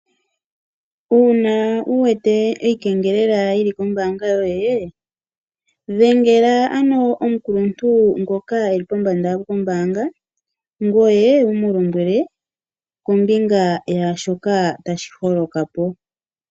Uuna wu wete iikengelela yi li kombaanga yoye dhengela ano omukuluntu ngoka e li pombanda kombaanga ngoye wu mu lombwele kombinga yaa shoka tashi holoka po.